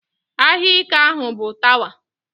Aha ika ahụ bụ Tawa.